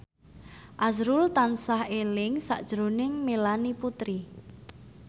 azrul tansah eling sakjroning Melanie Putri